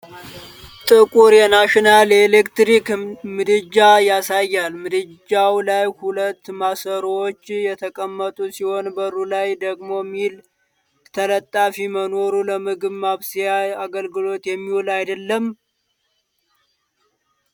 ጥቁር የ'ናሽናል' የኤሌክትሪክ ምድጃን ያሳያል፤ ምድጃው ላይ ሁለት ማሰሮዎች የተቀመጡ ሲሆን በሩ ላይ ደግሞ ሚል ተለጣፊ መኖሩ ለምግብ ማብሰያ አገልግሎት የሚውል አይደለም?